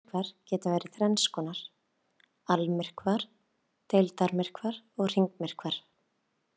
Sólmyrkvar geta verið þrenns konar: Almyrkvar, deildarmyrkvar og hringmyrkvar.